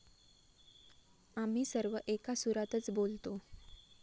आम्ही सर्व एका सुरातच बोलतो.